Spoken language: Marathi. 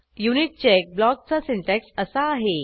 युनिटचेक ब्लॉकचा सिन्टॅक्स असा आहे